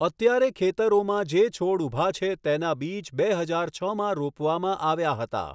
અત્યારે ખેતરોમાં જે છોડ ઊભા છે તેના બીજ બે હજાર છમાં રોપવામાં આવ્યા હતા.